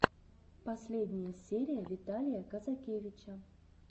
последняя серия виталия казакевича